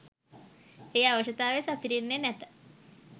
ඒ අවශ්‍යතාව සපිරෙන්නේ නැත.